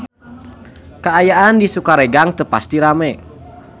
Kaayaan di Sukaregang teu pati rame